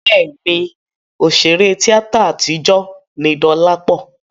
Bẹ́ẹ̀ni, òṣèré tíátà àtijọ́ ni Dọlápọ̀